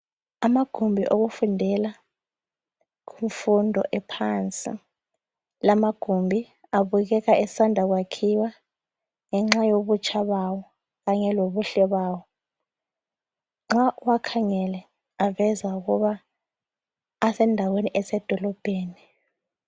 Amagumbi okufundela imfundo ephansi. Lamagumbi abukeka esanda kwakhiwa ngenxa yobutsha bawo kanye lobuhle bawo. Nxa uwakhangele aveza ukuba asendaweni esedolobheni.